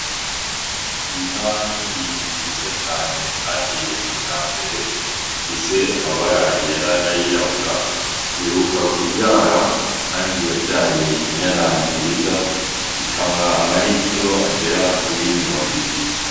Inka nini nziza cane kandi ya kijambere, ifise amabara yera n'ayirabura, iheruka kuvyara kandi yavyaye inyana nziza, ikamwa ama ritiro agera kuri mirongo ibiri.